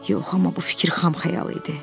Yox, amma bu fikir xam xəyal idi.